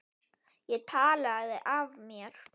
Ég talaði af mér.